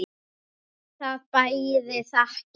Það bæri að þakka.